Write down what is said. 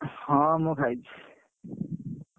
ହଁ ମୁଁ ଖାଇଛି।